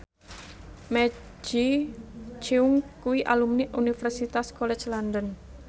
Maggie Cheung kuwi alumni Universitas College London